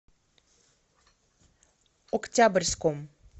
октябрьском